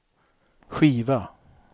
skiva